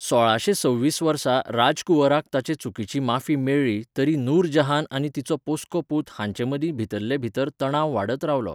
सोळाशे सव्वीस वर्सा राजकुंवराक ताचे चुकींची माफी मेळ्ळी तरी नूरजहान आनी तिचो पोस्को पूत हांचे मदीं भितरले भितर तणाव वाडत रावलो.